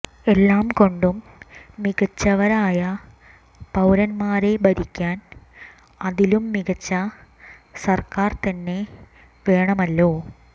എല്ലാം കൊണ്ടും മികച്ചവരായ പൌരന്മാരെ ഭരിക്കാൻ അതിലും മികച്ച സർക്കാർ തന്നെ വേണമല്ലോ